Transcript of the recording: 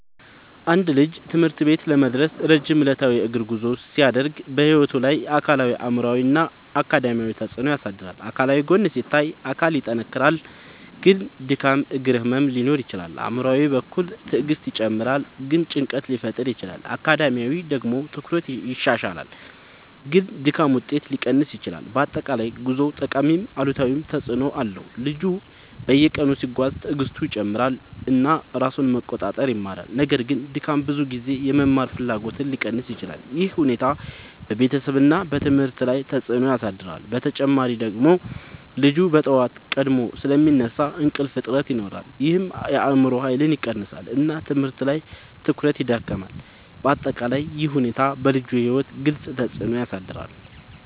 አንድ ልጅ ትምህርት ቤት ለመድረስ ረጅም ዕለታዊ የእግር ጉዞ ሲያደርግ በሕይወቱ ላይ አካላዊ አእምሯዊ እና አካዳሚያዊ ተፅዕኖ ያሳድራል። አካላዊ ጎን ሲታይ አካል ይጠናከራል ግን ድካም እግር ህመም ሊኖር ይችላል። አእምሯዊ በኩል ትዕግስት ይጨምራል ግን ጭንቀት ሊፈጠር ይችላል። አካዳሚያዊ ደግሞ ትኩረት ይሻሻላል ግን ድካም ውጤት ሊቀንስ ይችላል። በአጠቃላይ ጉዞው ጠቃሚም አሉታዊም ተፅዕኖ አለው። ልጁ በየቀኑ ሲጓዝ ትዕግስቱ ይጨምራል እና ራሱን መቆጣጠር ይማራል። ነገር ግን ድካም ብዙ ጊዜ የመማር ፍላጎትን ሊቀንስ ይችላል። ይህ ሁኔታ በቤተሰብ እና ትምህርት ላይ ተጽዕኖ ያሳድራል። በተጨማሪ ልጁ በጠዋት ቀድሞ ስለሚነሳ እንቅልፍ እጥረት ይኖራል ይህም የአእምሮ ኃይልን ይቀንሳል እና ትምህርት ላይ ትኩረት ይዳክማል። በአጠቃላይ ይህ ሁኔታ በልጁ ሕይወት ግልጽ ተፅዕኖ ያሳድራል።